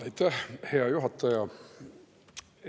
Aitäh, hea juhataja!